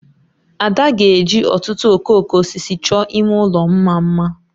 Ada ga-eji ọtụtụ okooko osisi chọọ ime ụlọ mma mma